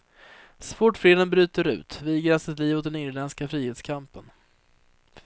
Så fort freden bryter ut viger han sitt liv åt den irländska frihetskampen.